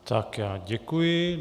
Tak já děkuji.